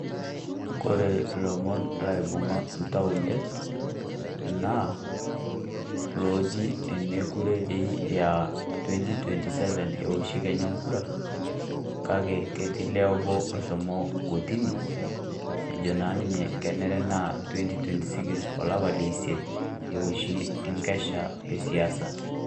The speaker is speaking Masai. Kore ilomon laibung'a oltau idet naa teneji meekure toii aaa Twenty twenty seven ewoshi Kenya enkura kake ketii olee obo otii kotini ejo naa ninye, kenare naa Twenty twenty six olapa leisiet ewoshi enkesha esiasa.